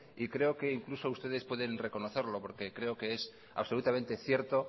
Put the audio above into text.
y creo que incluso ustedes pueden reconocerlo porque creo que es absolutamente cierto